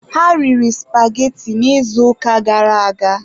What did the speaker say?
Ha riri supageti n'izuụka gara aga.